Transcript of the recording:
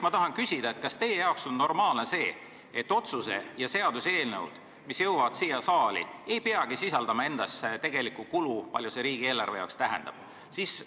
Kas teie jaoks on normaalne, et otsuse ja seaduse eelnõud, mis jõuavad siia saali, ei peagi sisaldama endas tegelikku kulu, palju see riigieelarve jaoks tähendab?